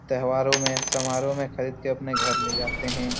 त्यौहारों में समारोह में खरीद के अपने घर ले जाते है।